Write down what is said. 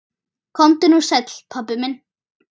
Komdu nú sæll, pabbi minn.